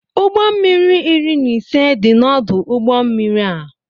Ụgbọ mmiri iri na ise dị n' ọdụ ụgbọ mmiri a.